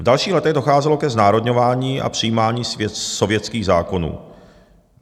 V dalších letech docházelo ke znárodňování a přijímání sovětských zákonů.